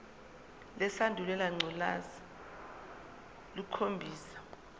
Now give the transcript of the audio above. lesandulela ngculazi lukhombisa